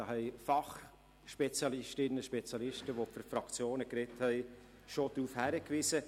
Darauf haben Fachspezialistinnen und Fachspezialisten, die für die Fraktionen gesprochen haben, bereits hingewiesen.